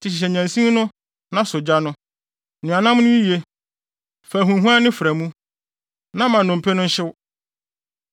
Enti hyehyɛ nnyansin no na sɔ gya no. Noa nam no yiye, fa ahuamhuanne fra mu; na ma nnompe no nhyew.